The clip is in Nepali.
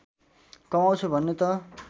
कमाउँछु भन्ने त